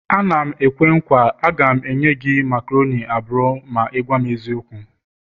A na m-ekwe nkwa, a ga m enye gị macaroni abụọ ma ị gwam eziokwu